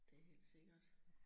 Det helt sikkert